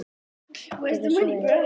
Gjörðu svo vel.